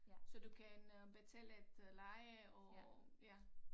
Så du kan øh betale et øh leje og ja